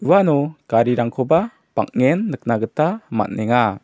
uano garirangkoba bang·en nikna gita man·enga.